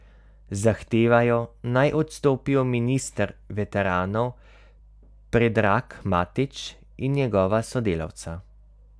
Zahtevajo, naj odstopijo minister veteranov Predrag Matić in njegova sodelavca.